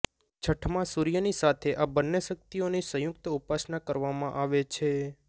છઠમાં સૂર્યની સાથે આ બંને શક્તિઓની સંયુક્ત ઉપાસના કરવામાં આવે છે